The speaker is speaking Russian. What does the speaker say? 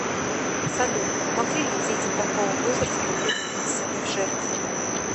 салют могли ли дети такого возраста быть принесены в жертву